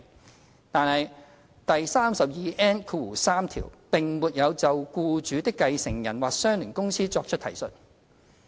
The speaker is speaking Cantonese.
然而，第 32N3 條並沒有就僱主的繼承人或相聯公司作出提述。